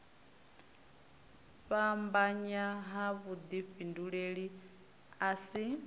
fhambanya ha vhudifhinduleli a si